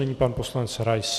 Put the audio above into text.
Nyní pan poslanec Rais.